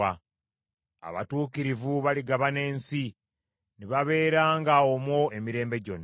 Abatuukirivu baligabana ensi ne babeeranga omwo emirembe gyonna.